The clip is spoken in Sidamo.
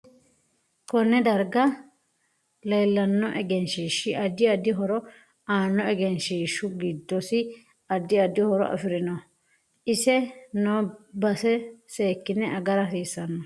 Konne darga leelanno egnshiishi addi addi horo aano egenshishu giddosi addi addi horo afirinoho ise noo base seekine agara hasiisanonke